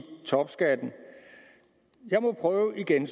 topskatten jeg må prøve igen